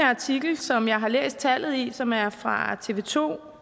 artikel som jeg har læst tallet i og som er fra tv to